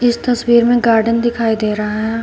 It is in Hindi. इस तस्वीर में गार्डन दिखाई दे रहा है।